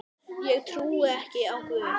Ég trúi ekki á Guð.